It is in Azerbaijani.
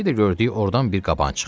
Bir də gördük ordan bir qaban çıxdı.